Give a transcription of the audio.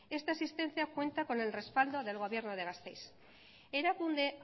esta existencia cuenta con el respaldo del gobierno de gasteiz erakunde